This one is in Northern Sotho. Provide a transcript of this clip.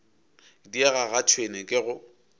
diega ga tšhwene ke go